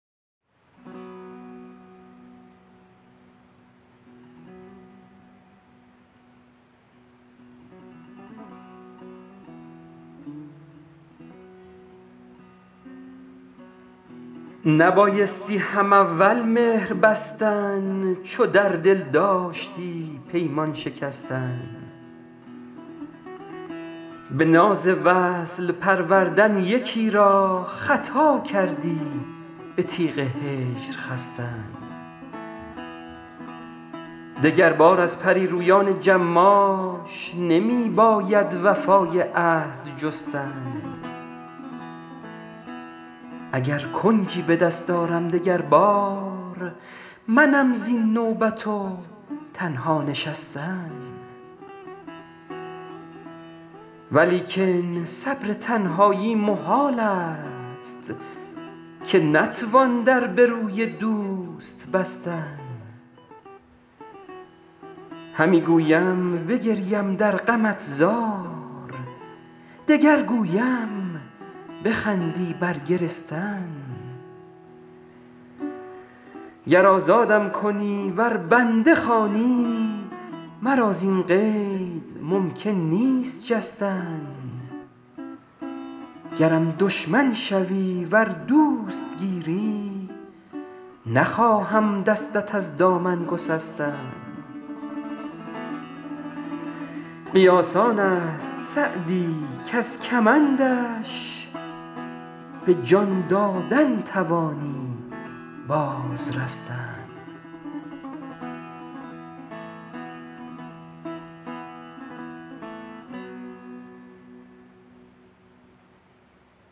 نبایستی هم اول مهر بستن چو در دل داشتی پیمان شکستن به ناز وصل پروردن یکی را خطا کردی به تیغ هجر خستن دگربار از پری رویان جماش نمی باید وفای عهد جستن اگر کنجی به دست آرم دگر بار منم زین نوبت و تنها نشستن ولیکن صبر تنهایی محال است که نتوان در به روی دوست بستن همی گویم بگریم در غمت زار دگر گویم بخندی بر گرستن گر آزادم کنی ور بنده خوانی مرا زین قید ممکن نیست جستن گرم دشمن شوی ور دوست گیری نخواهم دستت از دامن گسستن قیاس آن است سعدی کز کمندش به جان دادن توانی باز رستن